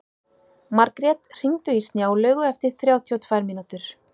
Margrjet, hringdu í Snjálaugu eftir þrjátíu og tvær mínútur.